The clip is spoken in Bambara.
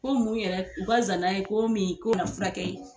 Ko mun yɛrɛ u ka zanan ye k'o min furakɛ ye